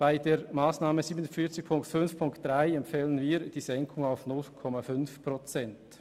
Bei der Massnahme 47.5.3 empfehlen wir die Senkung auf 0,5 Prozent.